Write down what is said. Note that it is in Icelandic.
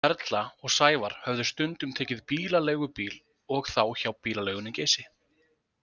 Erla og Sævar höfðu stundum tekið bílaleigubíl og þá hjá bílaleigunni Geysi.